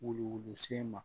Wuluwulusen ma